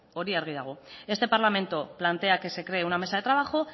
hori argi dago este parlamento plantea que se cree una mesa de trabajo